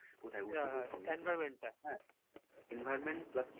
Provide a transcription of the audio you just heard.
environment টা